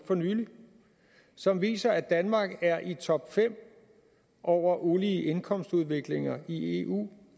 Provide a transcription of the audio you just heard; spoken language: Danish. for nylig som viser at danmark er i top fem over ulige indkomstudvikling i eu